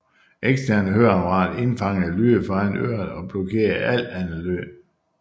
Eksterne høreapparater indfangede lyde foran øret og blokerede al anden lyd